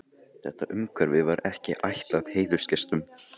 Pálma Hannessyni rektor, Steingrími Steinþórssyni ráðherra og Árna